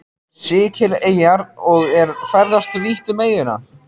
Sikileyjar og er ferðast vítt um eyjuna.